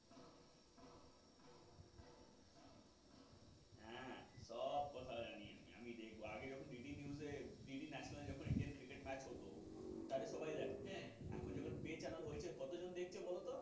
হ্যাঁ হ্যাঁ সব কথা জানি আমি আমি দেখব আগে যখন বিডি news বিডি national এ Indian cricket match হত তাহলে সবাই দেখতো এখন যখন চ্যানেল হয়েছে কতজন দেখে বলতো?